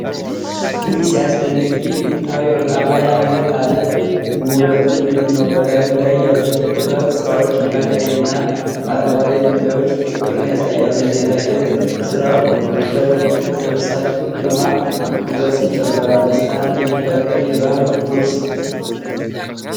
ውይ! ሲያስደንቅ! ይህ ጥንታዊ ወርቃማ የአንገት ሐብል ውበቱ ልዩ ነው። በላዩ ላይ ያሉት የጥበብ ሥራዎች እና ቀይና አረንጓዴ ድንጋዮች ፍቅርን ያሳያሉ። የጌጣጌጥ ጥልፍ ሥራው ለብሳኙ ግርማ ሞገስን ይጨምራል። ደስታን የሚፈጥር የባህል ውርስ!